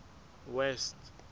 west